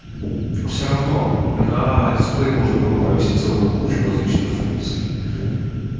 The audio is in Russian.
все равно на дисплее можно было повесить целую кучу различных функций